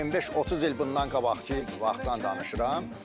25-30 il bundan qabaq ki vaxtdan danışıram.